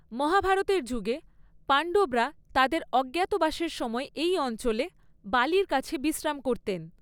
মহাভারতের যুগে, পাণ্ডবরা তাঁদের অজ্ঞাতবাসের সময় এই অঞ্চলে বালির কাছে বিশ্রাম করতেন।